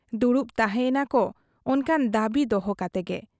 ᱫᱩᱲᱩᱵ ᱛᱟᱦᱮᱸ ᱮᱱᱟ ᱠᱚ ᱚᱱᱠᱟᱱ ᱫᱟᱹᱵᱤ ᱫᱚᱦᱚ ᱠᱟᱛᱮ ᱜᱮ ᱾